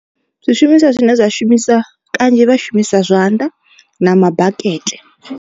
Zwishumiswa zwine zwa shumiswa kanzhi vha shumisa zwanḓa na mabakete.